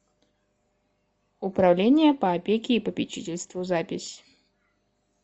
управление по опеке и попечительству запись